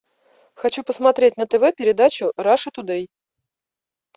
хочу посмотреть на тв передачу раша ту дей